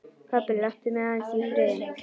Pabbi, láttu mig aðeins í friði.